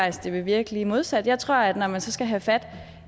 at det vil virke lige modsat jeg tror at når man så skal have fat